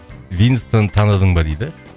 винстон таныдың ба дейді